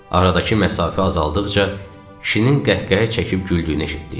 Aradakı məsafə azaldıqca, kişinin qəhqəhə çəkib güldüyünü eşitdik.